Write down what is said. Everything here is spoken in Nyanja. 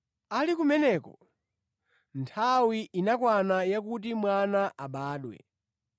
Ali kumeneko, nthawi inakwana yakuti mwana abadwe,